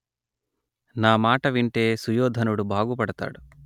నా మాట వింటే సుయోధనుడు బాగు పడతాడు